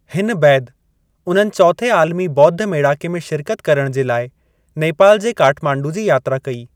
हिन बैदि उन्हनि चौथे आलमी ॿोद्ध मेड़ाके में शिरकत करण जे लाइ नेपाल जे काठमांडू जी यात्रा कई।